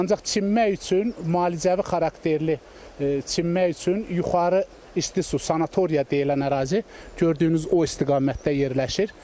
Ancaq çimmək üçün müalicəvi xarakterli çimmək üçün Yuxarı isti su sanatoriya deyilən ərazi gördüyünüz o istiqamətdə yerləşir.